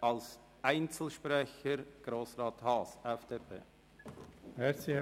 – Als Einzelsprecher Grossrat Haas.